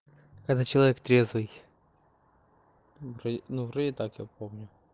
это человек трезвый ну вроди так я помню